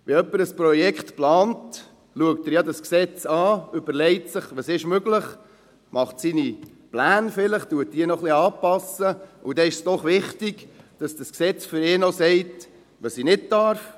Wenn jemand ein Projekt plant, schaut er das Gesetz an, überlegt sich, was möglich ist, macht vielleicht seine Pläne, passt diese noch ein bisschen an, und dann ist es doch wichtig, dass das Gesetz sagt, was er nicht darf.